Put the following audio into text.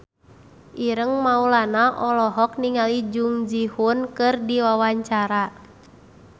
Ireng Maulana olohok ningali Jung Ji Hoon keur diwawancara